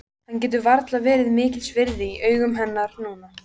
Hann getur varla verið mikils virði í augum hennar núna.